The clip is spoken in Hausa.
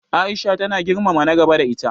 Aisha tana girmama na gaba da ita.